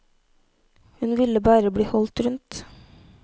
Hun ville bare bli holdt rundt.